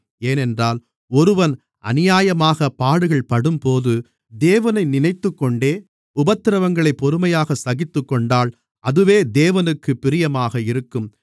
ஏனென்றால் ஒருவன் அநியாயமாகப் பாடுகள்படும்போது தேவனை நினைத்துக்கொண்டே உபத்திரவங்களைப் பொறுமையாகச் சகித்துக்கொண்டால் அதுவே தேவனுக்குப் பிரியமாக இருக்கும்